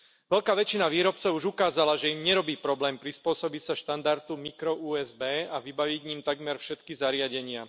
Veľká väčšina výrobcov už ukázala, že im nerobí problém prispôsobiť sa štandardu mikro USB a vybaviť ním takmer všetky zariadenia.